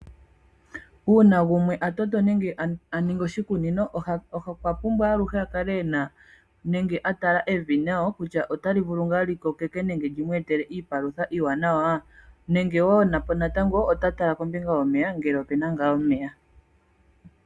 Uuna gumwe ta toto nenge ta ningi oshikunino, okwapumbwa oku tala ngele evi otali vulu ngaa lyi kokeke lyi mu etele iipalutha iiwanawa nenge ta tala ngele opuna ngaa omeya.